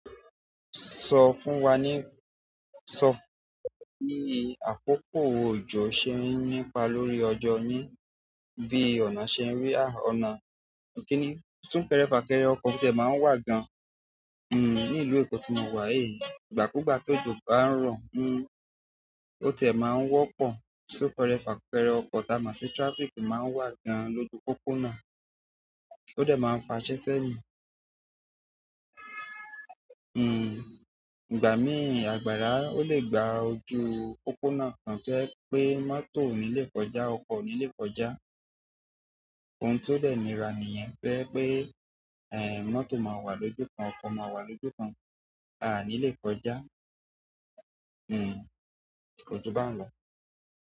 Sọ fún wa ní, sọ fún wa bí àkókò òjò ṣe ń nípa lórí ọjọ́ yin, bí ọ̀nà ṣe ń rí, à, ọ̀nà kìíní. Súnkẹrẹ fàkẹrẹ ọkọ̀ tie máa ń wà gan-an, hm, ní ìlú Èkó ti mo wà yìí. Ìgbà kúgbà ti ojo bá ń rọ̀, hm, o ti e maa n wo po sun kere, fa kere oko ti a mo si traffic ma a n wa gan loju popona. Ó dẹ̀ máa ń fa iṣẹ́ sẹ́yìn. Hm, ìgbà mí àgbàrá, ó lè gba ojú pópónà kan to je pé mọ́tò ò ní le kọjá, ọkọ̀ ò ní le kọjá. Ohun tó dẹ̀ nira nìyẹn to jẹ́ pé, ẹ, mọ́tò máa wà lójú kan, ọkọ̀ máa wà lójú kan, aà ní le kọjá. Hm, kọjú bá ń lọ.